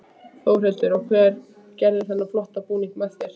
Þórhildur: Og hver gerði þennan flotta búning með þér?